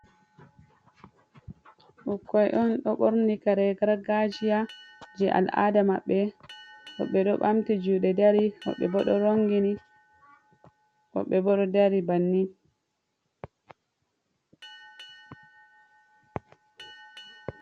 Ɓukkoy on ɗo ɓorni kare gargajiya jey al'aɗda maɓɓe, ɓe ɗo ɓamti juuɗe dari, woɓɓe bo ɗo rongini, woɓɓe bo ɗo dari banni.